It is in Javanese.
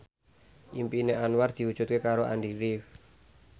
impine Anwar diwujudke karo Andy rif